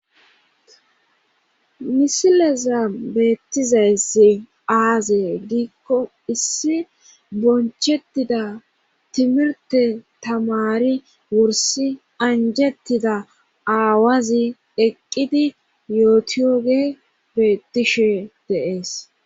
misileza beettizayssi aaze giikko issi bonchettida timirte tamari wursi anjettida aawazi eqqidi yootiyoge beettishe deees